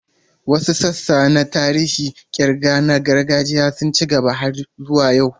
Wasu sassa na tsarin ƙirga na gargajiya sun ci gaba har zuwa yau.